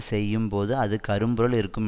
செய்யும் போது அது கரும்பொருள் இருக்கும்